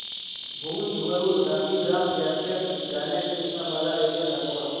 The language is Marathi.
भुज वरून गांधीधाम जंक्शन जाण्या करीता मला रेल्वे दाखवा